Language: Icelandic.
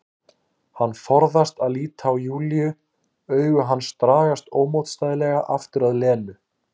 Hann forðast að líta á Júlíu, augu hans dragast ómótstæðilega aftur að Lenu.